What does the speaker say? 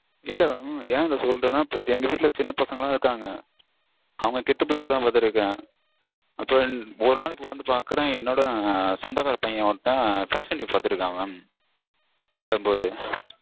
இல்ல mam நா ஏன் இத சொல்றேன்னா எங்க வீட்ல சின்ன பசங்கலாம் இருக்காங்க. அவங்க கெட்டு போயிரக்கூடாதுனு பாத்துட்டிருக்கேன். அப்பறம் ஒரு நாளைக்கு வந்து பாக்கறேன் என்னோட சொந்தக்கார பையன் ஒருத்தன் fashion TV பாத்திட்டிருக்கான் mam இல்லாதபோது.